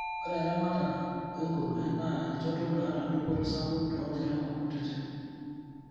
Ore eramatare enguruwe naa enchoto nata dupoto sapuk too lairemok kutiti.